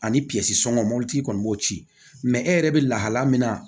Ani sɔngɔ mɔti kɔni b'o ci mɛ e yɛrɛ bɛ lahala min na